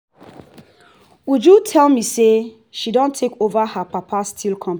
uju tell me say she don take over her papa steel company